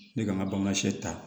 Ne ka n ka bamanan see ta